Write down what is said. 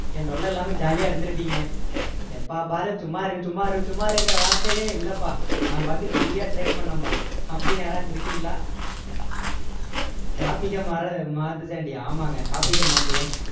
என் தொல்லை இல்லாம jolly யா இருந்திருப்பீங்க எப்பப்பாரு சும்மா இரு சும்மா இரு சும்மா இருங்கிற வார்த்தையே இல்லப்பா நான் பாட்டுக்கு free யா trade பண்ணேன்பா அப்படின்னு யாராச்சும் இருக்கீங்களா topic அ மாற்~ மாத்து சண்டி ஆமாங்க topic க மாத்துவோம்